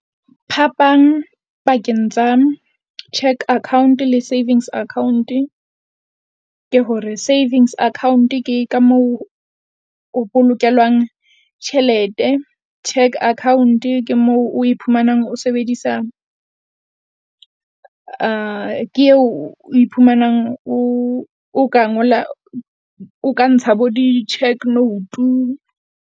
Phapang pakeng tsa cheque account le savings account-e, ke hore savings account ke ka moo o bolokelwang tjhelete. Cheque account ke moo o iphumanang o sebedisa ke eo a iphumanang o o ka ngola, o ka ntsha bo di-check note-u.